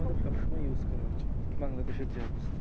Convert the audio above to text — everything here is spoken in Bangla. আমাদের সবসময় use করা উচিৎ বাংলাদেশের যা অবস্থা।